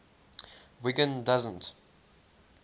wiggin doesn t